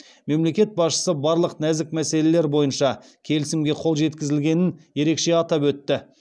мемлекет басшысы барлық нәзік мәселелер бойынша келісімге қол жеткізілгенін ерекше атап өтті